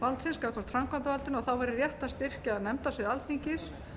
löggjafarvaldsins gagnvart framkvæmdarvaldinu og þá væri rétt að styrkja nefndasvið alþingis